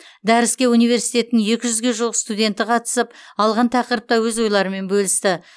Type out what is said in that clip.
дәріске университеттің екі жүзге жуық студенті қатысып алған тақырыпта өз ойларымен бөлісті